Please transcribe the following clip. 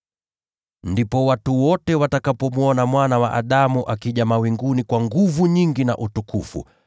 “Ndipo watu wote watakapomwona Mwana wa Adamu akija mawinguni kwa nguvu nyingi na utukufu.